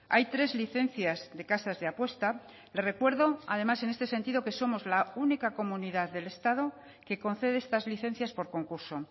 hay tres licencias de casas de apuesta le recuerdo además en este sentido que somos la única comunidad del estado que concede estas licencias por concurso